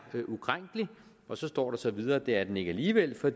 ukrænkelig og så står der videre at det er den ikke alligevel for